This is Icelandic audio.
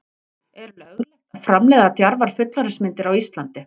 er löglegt að framleiða djarfar fullorðinsmyndir á íslandi